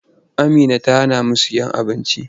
Amina ta hanamu sayen abinci.